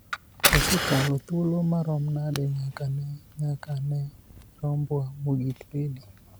osekalo thuolo marom nade nyaka ne nyaka ne rombwa mogik bedi ?